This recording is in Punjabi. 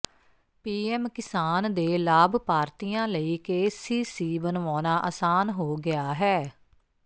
ਪੀਐਮ ਕਿਸਾਨ ਦੇ ਲਾਭਪਾਰਤੀਆਂ ਲਈ ਕੇਸੀਸੀ ਬਣਵਾਉਣਾ ਅਸਾਨ ਹੋ ਗਿਆ ਹੈ